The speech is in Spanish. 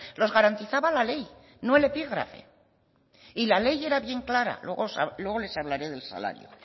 los garantizaban la ley no el epígrafe y la ley era bien clara luego les hablaré del salario